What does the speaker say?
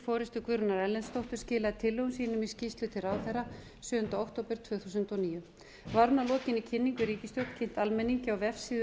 forustu guðrúnar erlendsdóttur skilaði tillögum sínum í skýrslu til ráðherra sjöunda október tvö þúsund og níu var hún að lokinni kynningu í ríkisstjórn kynnt almenningi á vefsíðu